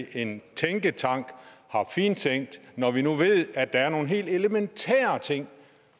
at en tænketank har fintænkt det når vi nu ved at der er nogle helt elementære ting